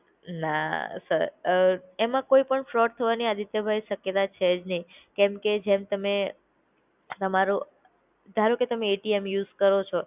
ના સર, અ એમાં કોઈ પણ ફ્રોડ થવાની આદિત્યભાઈ શક્યતા છે જ નઈ. કેમ કે જેમ તમે તમારો ધારોકે તમે એટીએમ યુઝ કરો છો